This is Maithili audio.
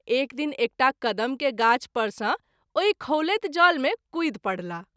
एक दिन एकटा कदम के गाछ पर सँ ओहि खौलैत जल मे कूदि परलाह।